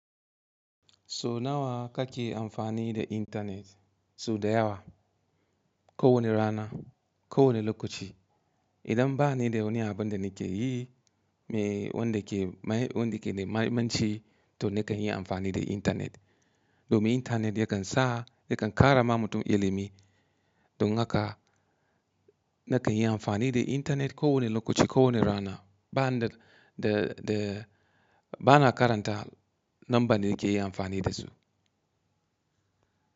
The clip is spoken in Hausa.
So nawa kake amfani da intanet? So da yawa. Ko wane rana, ko wane lokaci. Idan ba ni da wani abin da nake yi, me, wanda ke, mai, wanda ke da mahimmanci, to nakan iya amfani da intanet. Domin intanet yakan sa, yakan ƙara ma mutum ilimi. Don haka nakan yi amfani da intanet ko wane lokaci, ko wane rana. Ba'an da, da, da, ba na karanta lambar da nake yi amfani da su.